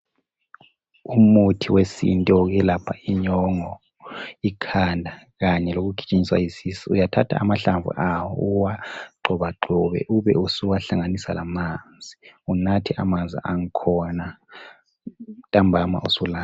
Umuthi wesintu wokuyelapha inyongo , ikhanda kanye lokugijinyiswa yisisu uyathatha amahlamvu awo uwagxobagxobe ube usuwa hlanganisa lamanzi unathe amanzi angkhona ntambama usulala.